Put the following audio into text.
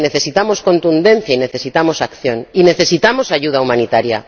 Que necesitamos contundencia y necesitamos acción, y necesitamos ayuda humanitaria.